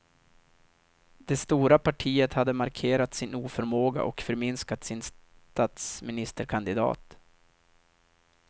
Det stora partiet hade markerat sin oförmåga och förminskat sin statsministerkandidat.